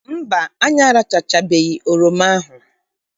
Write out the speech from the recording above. Mba, anyị arachachabeghị oroma ahụ.